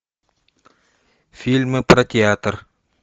фильмы про театр